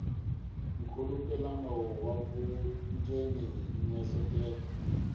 nkhulukelano wa vundzeni na miehleketo